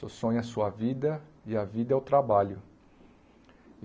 Seu sonho é sua vida e a vida é o trabalho.